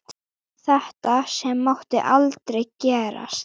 Þetta sem mátti aldrei gerast.